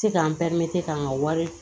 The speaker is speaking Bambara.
Se k'an k'an ka wari